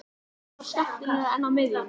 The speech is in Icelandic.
Er það skemmtilegra en á miðjunni?